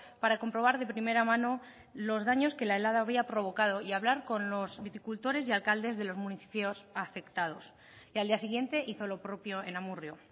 para comprobar de primera mano los daños que la helada había provocado y a hablar con los viticultores y alcaldes de los municipios afectados y al día siguiente hizo lo propio en amurrio